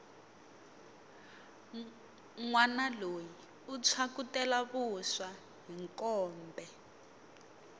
nwana loyi u phyakutela vuswa hi mkombe